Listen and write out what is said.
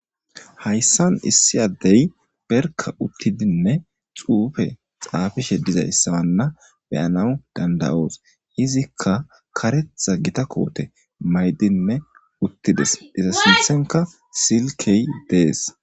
Hayssan issi addebarikka uttidinne xuufe xaafishe diza izanne be'anaw dandawoos hizikka karetta gita koote maydinne uttides iza sinttanikka silkee dees.